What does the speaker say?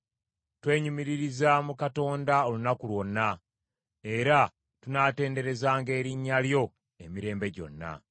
Twenyumiririza mu Katonda olunaku lwonna. Era tunaatenderezanga erinnya lyo emirembe gyonna.